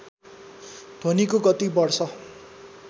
ध्वनिको गति बढ्छ